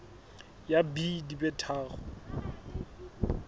ya b di be tharo